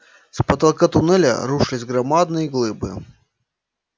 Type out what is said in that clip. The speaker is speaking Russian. с потолка тоннеля рушились громадные глыбы